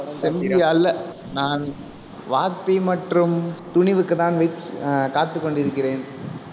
செம்பி அல்ல நான் வாத்தி மற்றும் துணிவுக்குத்தான் wait அஹ் காத்துக் கொண்டிருக்கிறேன்